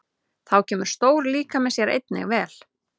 Þá kemur stór líkami sér einnig vel.